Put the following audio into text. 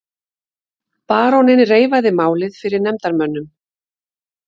Baróninn reifaði málið fyrir nefndarmönnum.